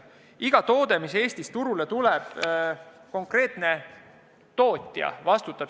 Iga toote eest, mis Eestis turule tuleb, vastutab konkreetne tootja.